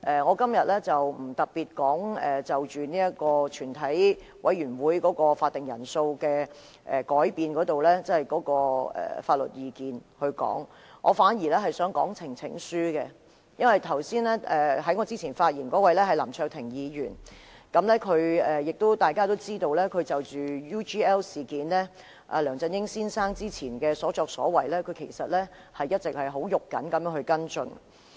我今天不會特別就全體委員會法定人數的改變的相關法律意見發言，我反而想談論呈請書，因為在我之前發言的是林卓廷議員，大家都知道，他就着 UGL 事件及梁振英先生之前的所作所為，一直很着緊地跟進。